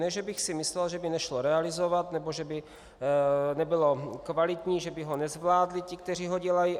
Ne že bych si myslel, že by nešlo realizovat nebo že by nebylo kvalitní, že by ho nezvládli ti, kteří ho dělají.